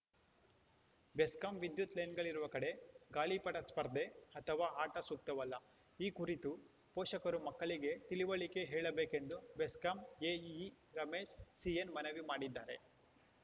ಬೆಸ್ಕಾಂ ವಿದ್ಯುತ್‌ ಲೈನ್‌ಗಳಿರುವ ಕಡೆ ಗಾಳಿಪಟ ಸ್ಪರ್ಧೆ ಅಥವಾ ಆಟ ಸೂಕ್ತವಲ್ಲ ಈ ಕುರಿತು ಪೋಷಕರು ಮಕ್ಕಳಿಗೆ ತಿಳಿವಳಿಕೆ ಹೇಳಬೇಕೆಂದು ಬೆಸ್ಕಾಂ ಎಇಇ ರಮೇಶ್‌ ಸಿಎನ್‌ ಮನವಿ ಮಾಡಿದ್ದಾರೆ